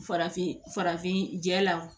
Farafin farafin jɛ la